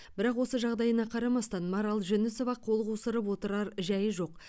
бірақ осы жағдайына қарамастан марал жүнісова қол қусырып отырар жайы жоқ